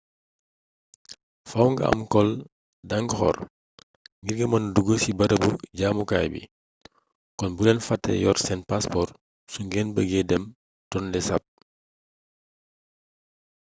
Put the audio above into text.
fàww nga am cole d'angkor ngir mëna dugg ci barabu jaamukaay bi kon bu leen fàtte yor seen passeport su ngeen bëggee dem tonlé sap